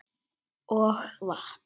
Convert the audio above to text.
Og vatn.